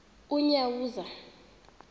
unyawuza